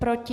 Proti?